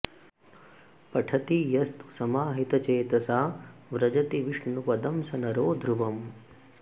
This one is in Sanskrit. पठति यस्तु समाहितचेतसा व्रजति विष्णुपदं स नरो ध्रुवं